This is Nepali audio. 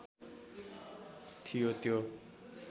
थियो त्यो